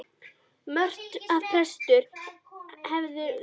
Mörtu að prestur hefði þverneitað að taka þóknun fyrir viðvikið.